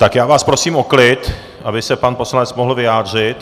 Tak já vás prosím o klid, aby se pan poslanec mohl vyjádřit.